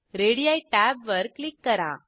ready टॅबवर click करा